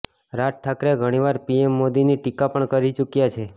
રાજ ઠાકરે ઘણીવાર પીએમ મોદીની ટીકા પણ કરી ચુક્યા છે